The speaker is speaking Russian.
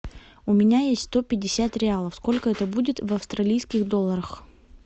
у меня есть сто пятьдесят реалов сколько это будет в австралийских долларах